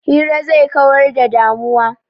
Hira zai kawar da damuwa.